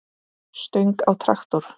stöng á traktor.